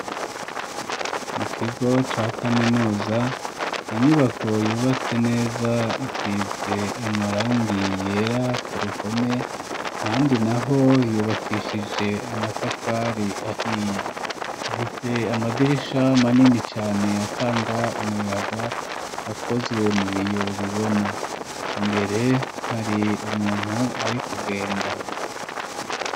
Mu kigo ca kaminuza inyubako yubatse neza isize amarangi yera ku ruhome ahandi naho yubakishije amatafari ahiye. Ifise amadirisha manini cane atanga umuyaga akozwe mu biyo bibona imbere hari umuntu ari kugenda.